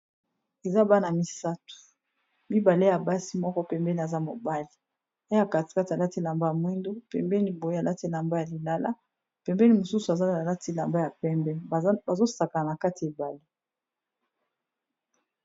Eza bana misato mibale ya basi moko pembeni aza mobali, na ya kati Kati alati elamba ya mwindu pembeni boye alati elamba ya lilala, pembeni mosusu aza alati elamba ya pembe, bazo sakana katia ebale.